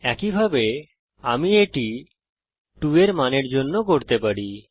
একইভাবে আমি এটা To এর মানের জন্য করতে পারি